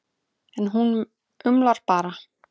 En hún umlar bara.